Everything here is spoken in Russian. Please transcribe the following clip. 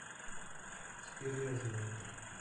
теперь я знаю